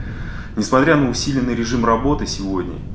несмотря на усиленный режим работы сегодня